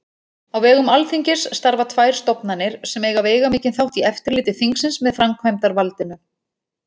Á vegum Alþingis starfa tvær stofnanir sem eiga veigamikinn þátt í eftirliti þingsins með framkvæmdarvaldinu.